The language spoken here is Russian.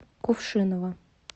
кувшинова